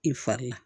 I fari la